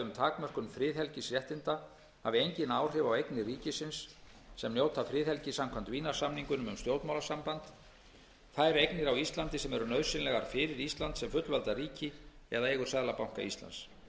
takmörkun friðhelgisréttinda hafi engin áhrif á eignir ríkisins sem njóta friðhelgi samkvæmt vínarsamningnum um stjórnmálasamband þær eignir á íslandi sem eru nauðsynlegar fyrir ísland sem fullvalda ríki eða eigur seðlabanka íslands